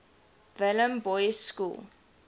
welham boys school